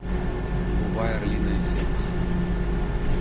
врубай орлиное сердце